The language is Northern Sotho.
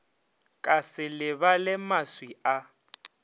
ka se lebale maswi a